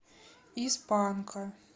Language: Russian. из панка